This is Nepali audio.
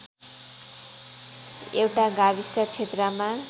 एउटा गाविस क्षेत्रमा